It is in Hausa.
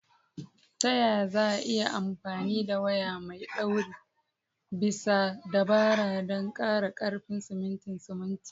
Ta yaya za a iya amfani da waya mai ɗaure bisa dabara don ƙara ƙarfin simintin simintin?